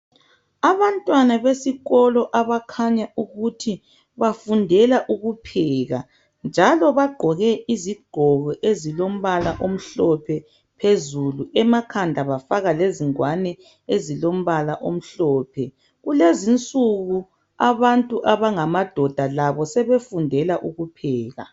Abantwana besikolo abakhanya ukuthi bafundela ukupheka njalo bagqoke izigqoko ezilombala omhlophe phezulu emakhanda bafaka lezingwane ezilombala omhlophe. Kulezinsuku abantu abangamadoda labo sebefundela ukupheka